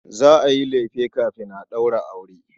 Za a yi lefe kafin a ɗaura aure.